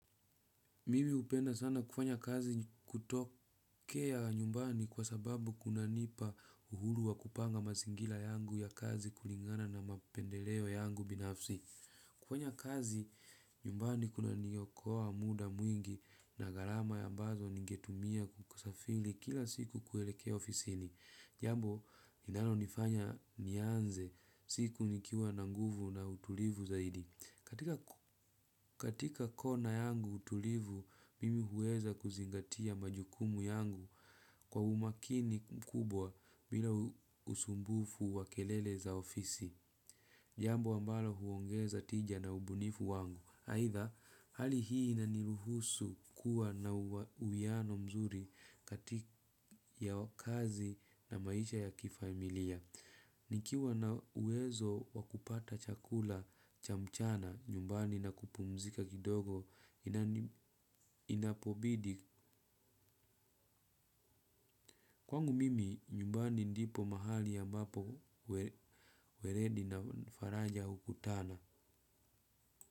Mimi hupenda sana kufanya kazi kutokea nyumbani kwa sababu kunanipa uhuru wa kupanga mazingira yangu ya kazi kulingana na mapendeleo yangu binafsi. Kufanya kazi nyumbani kunaniokoa muda mwingi na gharama ambazo ningetumia kusafiri kila siku kuelekea ofisini. Jambo linalonifanya nianze siku nikiwa na nguvu na utulivu zaidi. Katika kona yangu utulivu, mimi huweza kuzingatia majukumu yangu kwa umakini mkubwa bila usumbufu wa kelele za ofisi. Jambo ambalo huongeza tija na ubunifu wangu. Aidha, hali hii inaniruhusu kuwa na uwiano mzuri kati ya kazi na maisha ya kifamilia. Nikiwa na uwezo wa kupata chakula cha mchana nyumbani na kupumzika kidogo inapobidi. Kwangu mimi, nyumbani ndipo mahali ambapo weledi na faraja hukutana.